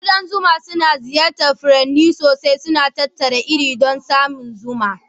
Ƙudan zuma suna ziyartar furanni sosai, suna tattara irin don samar da zuma.